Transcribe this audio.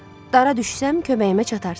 Dara düşsəm, köməyimə çatarsız.